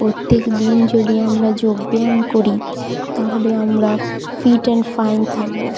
প্রত্যেক দিন যদি আমরা যোগ ব্যায়াম করি তাহলে আমরা ফিট এন্ড ফাইন থাকবো।